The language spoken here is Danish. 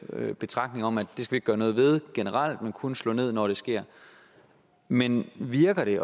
betragtning om at det skal gøre noget ved generelt men kun slå ned når det sker men virker det